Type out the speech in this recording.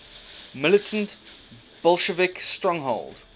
militant bolshevik stronghold